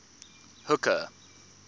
hooker